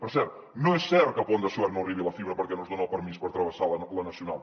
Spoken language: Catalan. per cert no és cert que al pont de suert no hi arribi la fibra perquè no es dona el permís per travessar la nacional